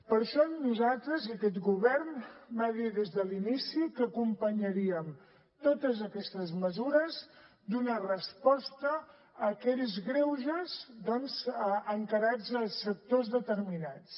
per això nosaltres i aquest govern vam dir des de l’inici que acompanyaríem totes aquestes mesures d’una resposta a aquells greuges doncs encarats a sectors determinats